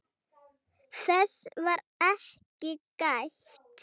Þess var ekki gætt.